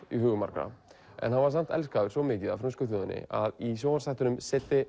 í hugum margra en hann var samt svo elskaður mikið af frönsku þjóðinni að í sjónvarpsþættinum